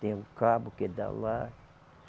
Tem o cabo que dá lá.